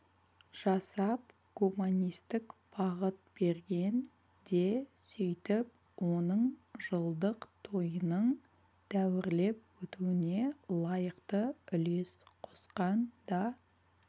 жасап гуманистік бағыт берген де сөйтіп оның жылдық тойының дәуірлеп өтуіне лайықты үлес қосқан да